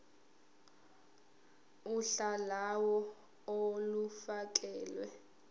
uhla lawo olufakelwe